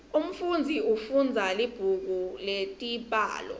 umfunzi ufundza libhuku letibalo